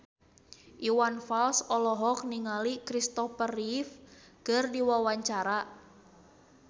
Iwan Fals olohok ningali Christopher Reeve keur diwawancara